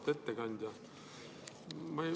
Auväärt ettekandja!